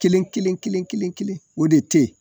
Kelen Kelen Kelen kelen o de te yen